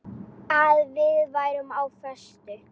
Að við værum á föstu.